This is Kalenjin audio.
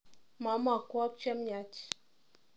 Mamakwak chemyaach.